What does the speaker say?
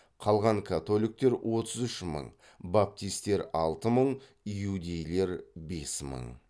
қалған католиктер баптистер иудейлер